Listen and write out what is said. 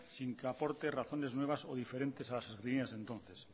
sin que aporte razones nuevas o diferentes a las sostenidas entonces